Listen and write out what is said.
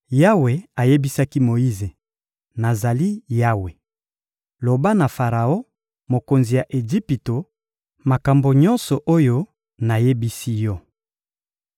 Yawe ayebisaki Moyize: — Nazali Yawe. Loba na Faraon, mokonzi ya Ejipito, makambo nyonso oyo nayebisi yo.